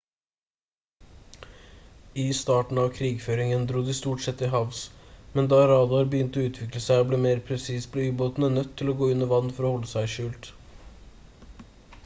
i starten av krigføringen dro de stort sett til havs men da radar begynte å utvikle seg og bli mer presis ble ubåtene nødt til å gå under vann for å holde seg skjult